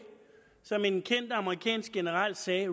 som en kendt amerikansk general sagde